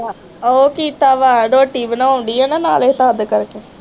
ਉਹ ਕੀਤਾ ਵਾ, ਰੋਟੀ ਬਣਾਉਣ ਡੀ ਹੈ ਨਾਲੇ ਕਰਕੇ